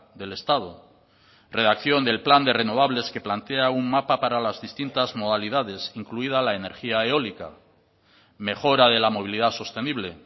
del estado redacción del plan de renovables que plantea un mapa para las distintas modalidades incluida la energía eólica mejora de la movilidad sostenible